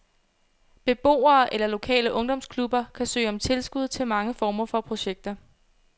Beboere eller lokale ungdomsklubber kan søge om tilskud til mange former for projekter.